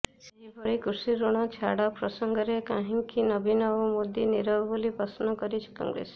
ସେହିଭଳି କୃଷିଋଣ ଛାଡ ପ୍ସଙ୍ଗରେ କାହିଁକି ନବୀନ ଓ ମୋଦି ନିରବ ବୋଲି ପ୍ରଶ୍ନ କରିଛି କଂଗ୍ରେସ